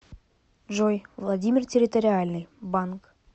джой владимир территориальный банк